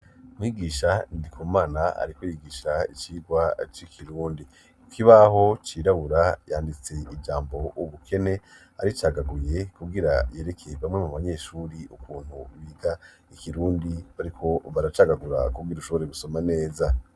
Mwigisha Ndikumana ariko yigisha icigwa c'ikirundi, ikibaho cirabura yanditse ijambo ubukene aricagaguye kugira yereke bamwe mu banyeshure ukuntu biga ikirundi bariko baracagagura kugira ushobore gusoma neza.